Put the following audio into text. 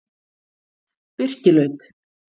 Birkilaut